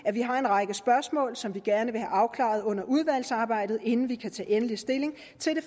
at vi har en række spørgsmål som vi gerne vil have afklaret under udvalgsarbejdet inden vi kan tage endelig stilling